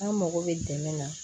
An mago bɛ dɛmɛ na